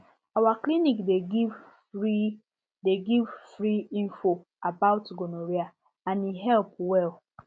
our clinic dey give free dey give free info about gonorrhea and e help well